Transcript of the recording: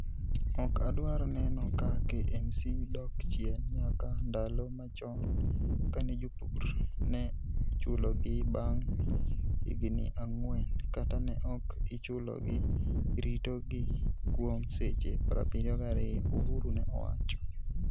Ok adwar neno ka KMC dok chien nyaka ndalo machon kane jopur ne ichulogi bang' higini ang'wen kata ne ok ichulogi, ritogi kuom seche 72, Uhuru ne owacho.